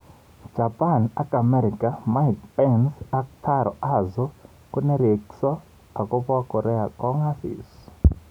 Japan ak Amerika:Mike Pence ak Taro Aso konerekso akobo Korea Kong'asis.